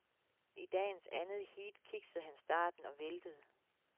I dagens andet heat kiksede han starten og væltede.